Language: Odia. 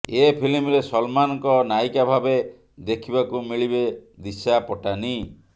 ଏ ଫିଲ୍ମରେ ସଲମାନଙ୍କ ନାୟିକା ଭାବେ ଦେଖିବାକୁ ମିଳିବେ ଦିଶା ପଟାନୀ